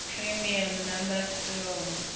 prime number theorem